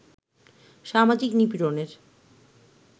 সামাজিক নিপীড়নের